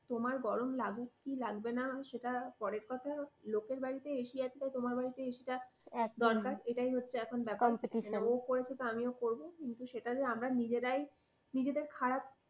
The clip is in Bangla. তোমার গরম লাগুক কি লাগবে না সেটা পরের কথা। লোকের বাড়িতে ac আছে আর তোমার বাড়িতে ac টা দরকার, এটাই হচ্ছে এখন ব্যাপার। একদমই তাই, competition । ও করেছে তাই আমিও করবো। কিন্তু সেটা যে আমরাই